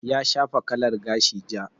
Ya shafa kalar gashi ja.